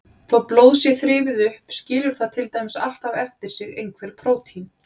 Þó blóð sé þrifið upp skilur það til dæmis alltaf eftir sig einhver prótín.